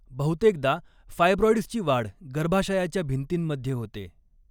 बहुतेकदा फायब्रॉईड्सची वाढ गर्भाशयाच्या भिंतींमध्ये होते.